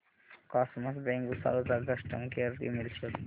cosmos bank Bhusawal चा customer care email शोध